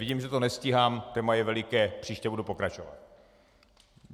Vidím, že to nestíhám, téma je veliké, příště budu pokračovat.